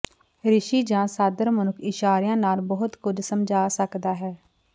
ਰਿਸ਼ੀ ਜਾਂ ਸਾਦਰ ਮਨੁੱਖ ਇਸ਼ਾਰਿਆਂ ਨਾਲ ਬਹੁਤ ਕੁਝ ਸਮਝਾ ਸਕਦਾ ਹੈ